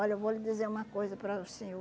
Olha, eu vou lhe dizer uma coisa para o senhor.